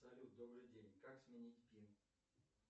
салют добрый день как сменить пин